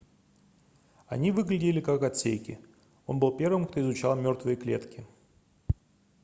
они выглядели как отсеки он был первым кто изучал мёртвые клетки